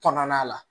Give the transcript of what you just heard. Kɔnɔna la